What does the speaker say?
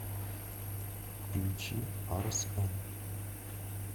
включи арс эн